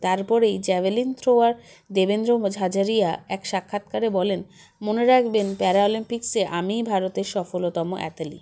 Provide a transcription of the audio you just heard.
তারপরেই javelin thrower Devendra Jhajharia এক সাক্ষাৎকারে বলেন মনে রাখবেন প্যারাঅলিম্পিক্সে আমিই ভারতের সফলতম athlete